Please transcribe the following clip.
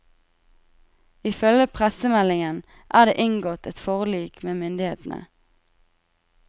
Ifølge pressemeldingen er det inngått et forlik med myndighetene.